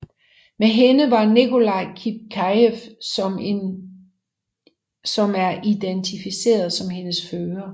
Med hende var Nikolai Kipkejev som er identificeret som hendes fører